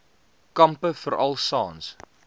kampe veral saans